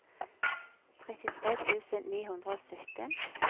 trettitre tusen ni hundre og sytten